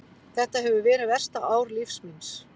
Þetta hefur verið versta ár lífs míns.